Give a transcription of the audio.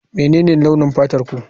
Menene launin fatarku?